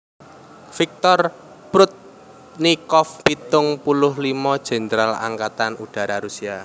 Viktor Prudnikov pitung puluh limo Jèndral Angkatan Udara Rusia